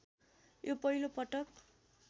यो पहिलो पटक